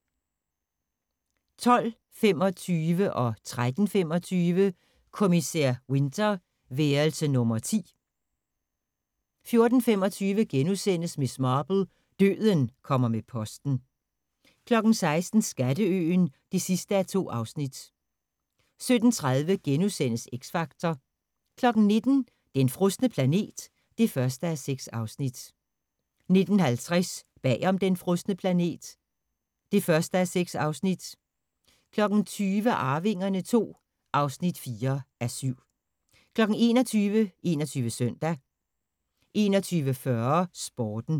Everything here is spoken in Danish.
12:25: Kommissær Winter: Værelse nummer 10 13:25: Kommissær Winter: Værelse nummer 10 14:25: Miss Marple: Døden kommer med posten * 16:00: Skatteøen (2:2) 17:30: X Factor * 19:00: Den frosne planet (1:6) 19:50: Bag om den frosne planet (1:6) 20:00: Arvingerne II (4:7) 21:00: 21 Søndag 21:40: Sporten